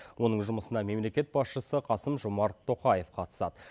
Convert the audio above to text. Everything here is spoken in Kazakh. оның жұмысына мемлекет басшысы қасым жомарт тоқаев қатысады